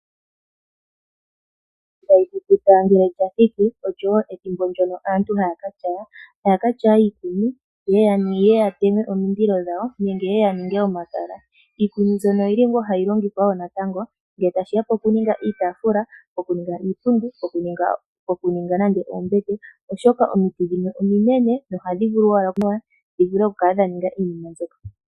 Ethimbo lyomvula ngele lya thiki olyo wo ethimbo ndyono aantu haya ka tyaya. Ohaya ka tyaya iikuni ye ye ya teme omililo dhawo ye ya ninge omakala. Iikuni mbyono ohayi longithwa wo natango ngele tashi ya pokuninga iitaafula, pokuninga iipundi, pokuninga nande oombete, oshoka omiti dhimwe ominene dho ohadhi vulu owala okuninga iinima mbyoka.